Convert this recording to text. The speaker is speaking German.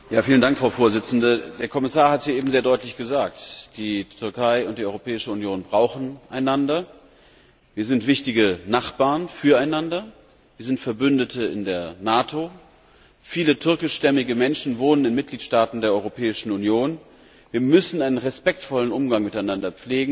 Frau Präsidentin! Der Kommissar hat es ja eben sehr deutlich gesagt Die Türkei und die Europäische Union brauchen einander, wir sind wichtige Nachbarn füreinander, wir sind Verbündete in der NATO, viele türkischstämmige Menschen wohnen in Mitgliedstaaten der Europäischen Union. Wir müssen einen respektvollen Umgang miteinander pflegen.